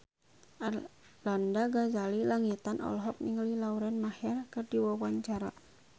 Arlanda Ghazali Langitan olohok ningali Lauren Maher keur diwawancara